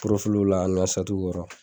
la ani n ka kɔrɔ.